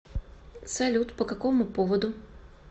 салют по какому поводу